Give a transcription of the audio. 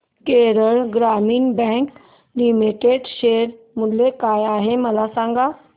Kerala Gramin bank limited share मूल्य काय आहे मला सांगा